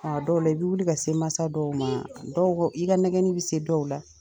A dɔw la i b'i wuli ka se mansa dɔw ma dɔw i ka nɛgɛnni bɛ se dɔw la.